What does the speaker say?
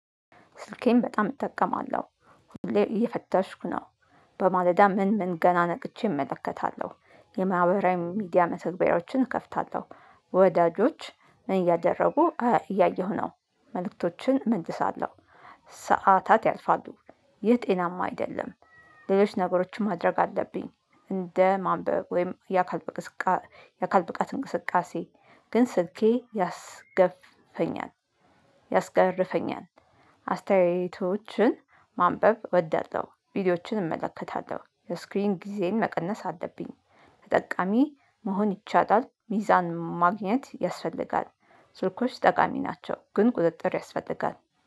ስልኬን በጣም እጠቀማለሁ ሁሌ እየፈተሽኩ ነው። በማለዳ ምን ምን ገና ነቅቼ እመለከታለሁ የማህበራዊ ሚዲያ መተግበሪያዎችን እከፍታለሁ። ወዳጆች ምን እያደረጉ እ እያየሁ ነው። መልእክቶችን እመልሳለው ስ ሰዓታት ያልፋሉ። ይህ ጤናማ አይደለም። ሌሎች ነገሮችን ማድረግ አለብኝ። እንደ ማንበብ ወይም ያ ከ የአካል ብቃት እንቅስቃሴ። ግን ስልኬ ያስገፍፈኛል ያስገርፈኛል አስተያየቶችን ማንበብ እወዳለሁ ቪዲዮዎችን እመለከታለሁ የስክሪን ጊዜን መቀነስ አለብኝ። ተጠቃሚ መሆን ይቻላል ሚዛን ማግኘት ያስፈልጋል። ስልኮች ጠቃሚ ናቸው። ግን ቁጥጥር ያስፈልጋል